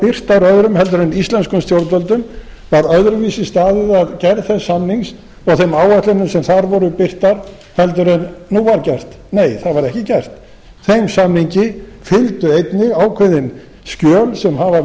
birtar öðrum heldur en íslenskum stjórnvöldum var öðruvísi staðið að gerð þess samnings og þeim áætlunum sem þar voru birtar heldur en nú var gert nei það var ekki gert þeim samningi fylgdu einnig ákveðin skjöl sem hafa